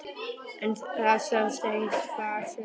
En það sást ekkert far, sagði Kobbi.